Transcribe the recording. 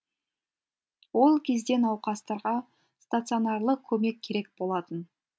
ол кезде науқастарға стационарлық көмек керек болатын